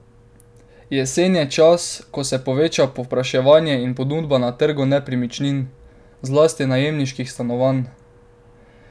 Jesen je čas, ko se poveča povpraševanje in ponudba na trgu nepremičnin, zlasti najemniških stanovanj.